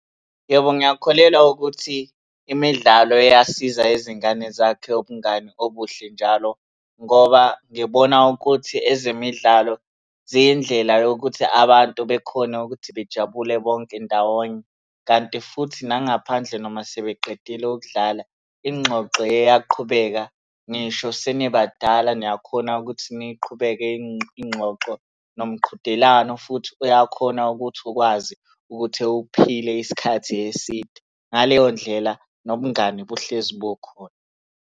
Yebo, ngiyakholelwa ukuthi imidlalo iyasiza izingane zakhe ubungani obuhle njalo, ngoba ngibona ukuthi ezemidlalo ziyindlela yokuthi abantu bekhone ukuthi bejabule bonke ndawonye, kanti futhi nangaphandle noma sebeqedile ukudlala, ingxoxo iyaqhubeka ngisho senibadala niyakhona ukuthi niyiqhubeke ingxoxo. Nomqhudelwano futhi uyakhona ukuthi ukwazi ukuthi uphile isikhathi eside. Ngaleyo ndlela nobungani buhlezi bukhona.